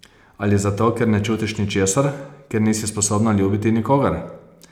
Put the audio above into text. Ali zato, ker ne čutiš ničesar, ker nisi sposobna ljubiti nikogar?